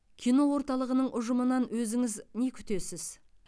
кино орталығының ұжымынан өзіңіз не күтесіз